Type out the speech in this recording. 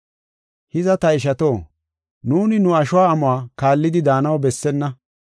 Hiza, ta ishato, nuuni nu asho amuwa kaallidi daanaw bessenna.